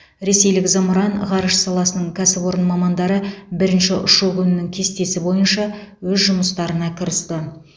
ресейлік зымыран ғарыш саласының кәсіпорын мамандары бірінші ұшу күнінің кестесі бойынша өз жұмыстарына кірісті